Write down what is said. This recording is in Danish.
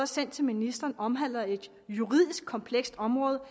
sendt til ministeren omhandler et juridisk komplekst område